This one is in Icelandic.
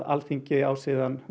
Alþingi á síðan